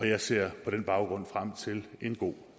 jeg ser på den baggrund frem til en god